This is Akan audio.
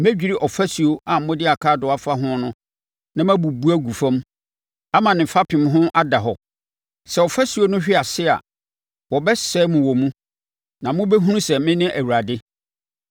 Mɛdwiri ɔfasuo a mode akaadoo afa ho no na mabubu agu fam ama ne fapem ho ada hɔ. Sɛ ɔfasuo no hwe ase a, wɔbɛsɛe mo wɔ mu, na mobɛhunu sɛ mene Awurade.